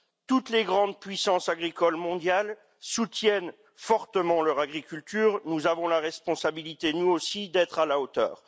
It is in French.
Toutes les grandes puissances agricoles mondiales soutiennent fortement leur agriculture et nous avons la responsabilité d'être, nous aussi, à la hauteur.